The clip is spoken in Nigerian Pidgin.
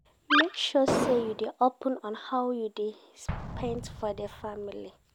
Make sure say you dey open on how you dey spend for di family